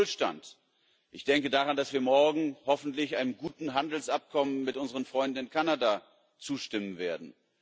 Für den Wohlstand ich denke daran, dass wir morgen hoffentlich einem guten Handelsabkommen mit unseren Freunden in Kanada zustimmen werden.